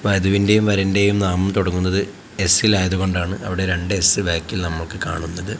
വധുവിന്റെയും വരന്റെയും നാമം തുടങ്ങുന്നത് എസ് ആയതുകൊണ്ടാണ് അവിടെ രണ്ട് എസ് ബാക്കിൽ നമുക്ക് കാണുന്നത്.